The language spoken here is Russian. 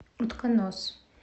утконос